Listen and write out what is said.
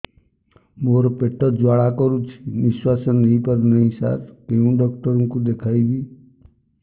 ମୋର ପେଟ ଜ୍ୱାଳା କରୁଛି ନିଶ୍ୱାସ ନେଇ ପାରୁନାହିଁ ସାର କେଉଁ ଡକ୍ଟର କୁ ଦେଖାଇବି